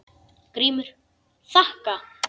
GRÍMUR: Þakka.